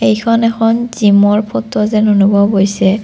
এইখন এখন জিমৰ ফটো যেন অনুভৱ হৈছে।